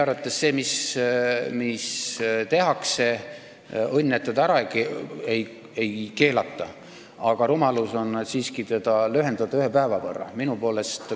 Õnn, et e-valimist ära ei keelata, aga meie arvates on siiski rumalus seda aega ühe päeva võrra lühendada.